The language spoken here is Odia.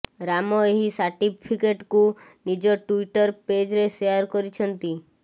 ରାମ ଏହି ସାର୍ଟିଫିକେଟ୍କୁ ନିଜ ଟ୍ୱିଟର ପେଜ୍ରେ ସେୟାର କରିଛନ୍ତି